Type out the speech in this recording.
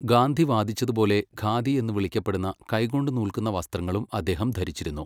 ഗാന്ധി വാദിച്ചതുപോലെ ഖാദി എന്ന് വിളിക്കപ്പെടുന്ന കൈകൊണ്ട് നൂൽക്കുന്ന വസ്ത്രങ്ങളും അദ്ദേഹം ധരിച്ചിരുന്നു.